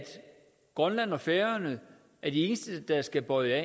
grønland og færøerne er de eneste der skal bøje af